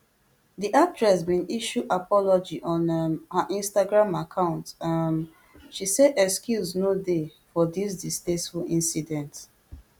di actress bin issue apology on um her instagram account um she say excuse no dey for dis distasteful incident